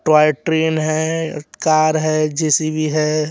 Toy train है car है J C B है।